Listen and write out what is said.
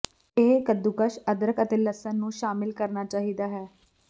ਇਹ ਕੱਦੂਕਸ ਅਦਰਕ ਅਤੇ ਲਸਣ ਨੂੰ ਸ਼ਾਮਿਲ ਕਰਨਾ ਚਾਹੀਦਾ ਹੈ